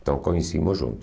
Então conhecíamos juntos.